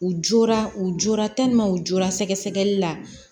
U jɔra u jɔyɔrɔ u jɔra sɛgɛsɛgɛli la